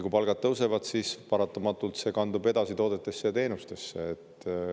Kui palgad tõusevad, siis see paratamatult kandub edasi toodetesse ja teenustesse.